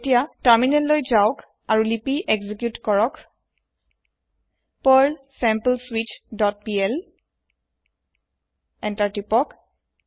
এতিয়া তাৰমিনেল লৈ যাওক আৰু লিপি এক্সিকিউত কৰক পাৰ্ল sampleswitchপিএল এন্টাৰ তিপক